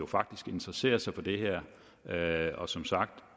faktisk interesserede sig for det her og som sagt